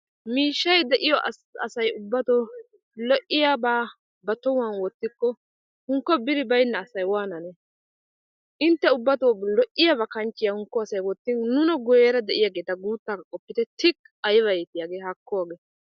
miishshay de'iyo asy ubbato lo''iyaaba wottikko hankko biri baynna asay waananne! intte ubbatoo lo''iyaaaba kanchchiyaa wottin nuna guyyera de'iyaageeta qopitte, tuy ! hakko hagee!